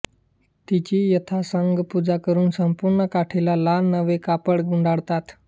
तिची यथासांग पूजा करून संपूर्ण काठीला लाल नवे कापड गुंडाळतात